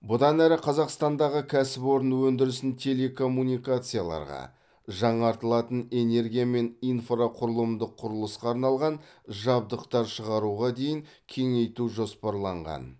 бұдан әрі қазақстандағы кәсіпорын өндірісін телекоммуникацияларға жаңартылатын энергия мен инфрақұрылымдық құрылысқа арналған жабдықтар шығаруға дейін кеңейту жоспарланған